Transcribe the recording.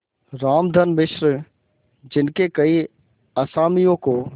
रामधन मिश्र जिनके कई असामियों को